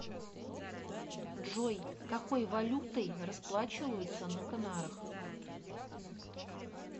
джой какой валютой расплачиваются на канарах